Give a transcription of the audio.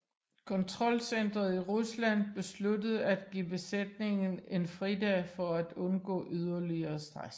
Kontrolcenteret i Rusland besluttede at give besætningen en fridag for at undgå yderligere stress